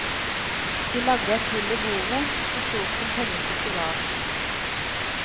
De lagde et hull i bordet, så stort som pengestykket var.